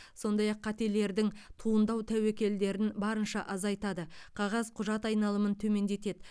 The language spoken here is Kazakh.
сондай ақ қателердің туындау тәуекелдерін барынша азайтады қағаз құжат айналымын төмендетеді